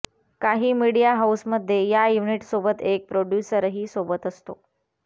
काही मीडिया हाऊसमध्ये या युनिटसोबत एक प्रोड्यूसरही सोबत असतो